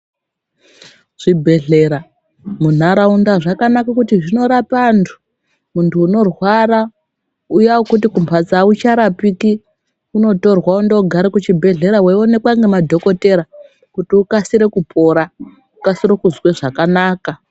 zvibhedhlera munharaunda zvakanaka kutizvinorape antu, muntu unorwara uya wekuti kumphatso aucharapiki, unotorwa wondogare kuchibhedhleya wechionekwa ngemadhokodheya kuti akasire kupora, akasire kuzwe zvakanaka.